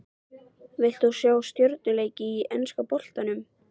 Vilt þú sjá stjörnuleik í enska boltanum?